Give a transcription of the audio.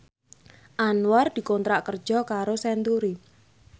Anwar dikontrak kerja karo Century